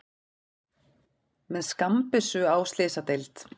Með skammbyssu á slysadeild